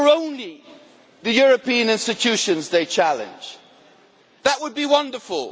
If it were only the European institutions they were challenging, that would be wonderful.